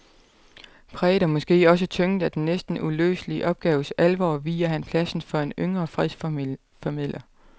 Præget og måske også tynget af den næsten uløselige opgaves alvor viger han pladsen for en yngre fredsformidler.